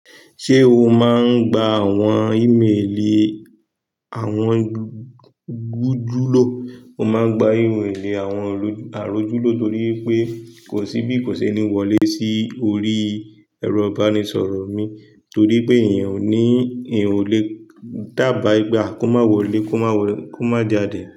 Ṣé o máa ń gba àwọn ímelì àwọn gujúlíò? Mo máa ń gba ímelì àwọn àròjúlíò torí pé kò sí bí kò ṣe ní wọlé sí orí ẹ̀rọ ìbánisọ̀rọ̀ mi, torí pé èèyàn ò ní èèyàn ò lè dába ipe a, kó má wọlé kó má jáde.